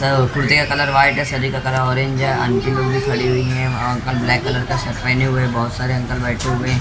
कुर्ती का colour white है शरीर का कलर ऑरेंज है अंटी लोग भी खड़ी हुई है अंकल ब्लैक कलर का शर्ट पहने हुए बहुत सारे अंकल बैठे हुए--